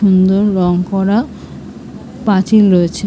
রং করা পাঁচিল রয়েছে ।